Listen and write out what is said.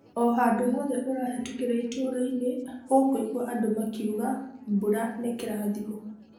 O-handũ hothe ũrahetũkĩra itũra-inĩ ũkũigua andũ makiuga ' mbura nĩ kĩrathimo'.